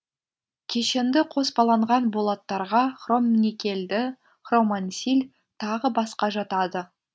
кешенді қоспаланған болаттарға хромникельді хромансиль тағы басқа жатады